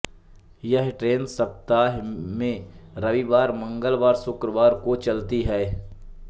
यह ट्रेन सप्ताह में रविवार मंगलवार शुक्रवार को चलती है